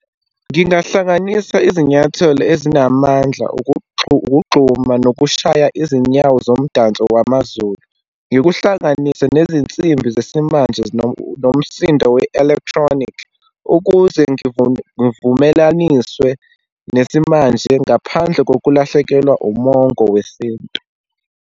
Ngingahlanganisa izinyathelo ezinamandla ukugxuma nokushaya izinyawo zomdanso wamaZulu. Ngikuhlanganise nezinsimbi zesimanje nomsindo we-electronic, ukuze ngivumelaniswe nesimanje ngaphandle kokulahlekelwa umongo wesintu.